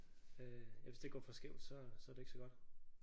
Øh eller hvis det går for skævt så så er det ikke så godt